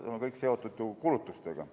See on kõik seotud ju kulutustega.